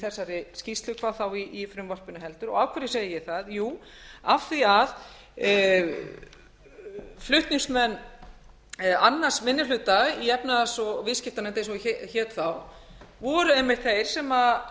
þessari skýrslu hvað þá í frumvarpinu heldur af hverju segi ég það jú af því að flutningsmenn annar minni hluta í efnahags og viðskiptanefnd eins og hún hét þá voru einmitt þeir sem